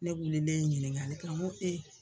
Ne wililen ye ɲiniŋali kɛ ŋo